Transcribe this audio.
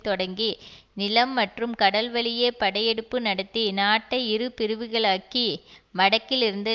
தொடங்கி நிலம் மற்றும் கடல்வழியே படையெடுப்பு நடத்தி நாட்டை இரு பிரிவுகளாக்கி வடக்கில் இருந்து